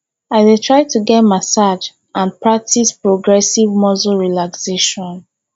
i dey try to get massage and practice progressive muscle relaxation